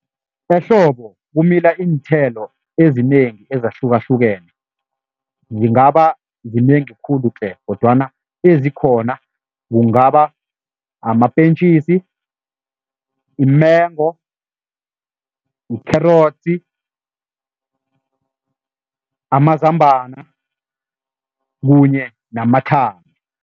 Ehlobo kumila iinthelo ezinengi ezahlukahlukene, zingaba zinengi khulu-tle kodwana ezikhona kungaba amapentjisi, imengo, likherotsi, amazambana kunye namathanga.